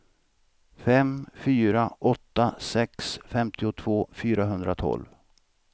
fem fyra åtta sex femtiotvå fyrahundratolv